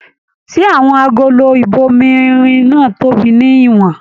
Ṣé àwọn agolo ibòmírin náà tóbi ní ìwòn?